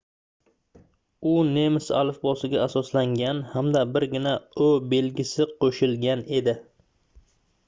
u nemis alifbosiga asoslangan hamda birgina õ/õ belgisi qo'shilgan edi